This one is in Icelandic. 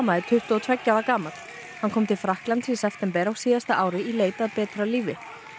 er tuttugu og tveggja ára gamall hann kom til Frakklands í september á síðasta ári í leit að betra lífi